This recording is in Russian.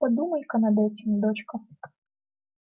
подумай-ка над этим дочка